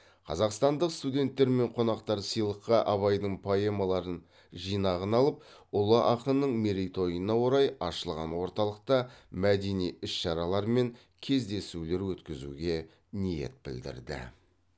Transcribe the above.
қазақстандық студенттер мен қонақтар сыйлыққа абайдың поэмаларын жинағын алып ұлы ақынның мерейтойына орай ашылған орталықта мәдени іс шаралар мен кездесулер өткізуге ниет білдірді